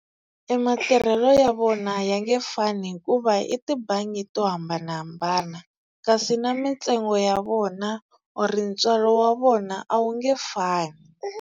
E matirhelo ya vona ya nge fani hikuva i tibangi to hambanahambana kasi na mintsengo ya vona or ntswalo wa vona a wu nge fani.